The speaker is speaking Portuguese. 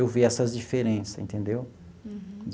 Eu vi essas diferença, entendeu?